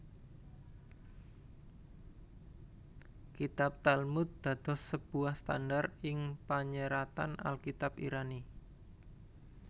Kitab Talmud dados sebuah standard ing panyeratan Alkitab Irani